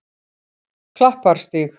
Klapparstíg